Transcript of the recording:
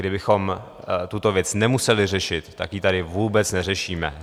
Kdybychom tuto věc nemuseli řešit, tak ji tady vůbec neřešíme.